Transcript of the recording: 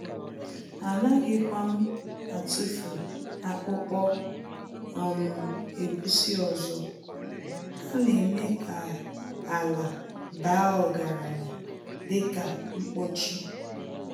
Anaghịkwa m atụfu akpụkpọ um egusi ọzọ, ha n’eme ka ala baa ọgaranya dị ka mkpochi.